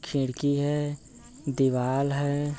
खिड़की है दीवाल है।